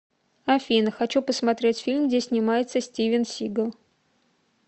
афина хочу посмотреть фильм где снимается стивен сигал